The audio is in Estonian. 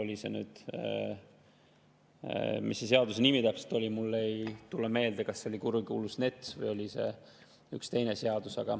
Mis selle seaduse nimi täpselt oli, ei tule mulle meelde, kas see oli kurikuulus NETS või üks teine seadus.